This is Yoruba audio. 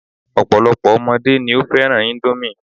Ọ̀pọ̀lọ́pọ̀ ọmọdé ni ó fẹ́ràn índómì